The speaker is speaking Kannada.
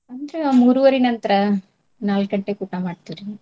ಅಂದ್ರ ಮೂರುವರಿ ನಂತ್ರ ನಾಲ್ಕ್ ಗಂಟೆಗ್ ಊಟಾ ಮಾಡ್ತೇವ್ರಿ.